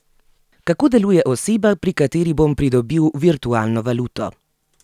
Kako deluje oseba, pri kateri bom pridobil virtualno valuto?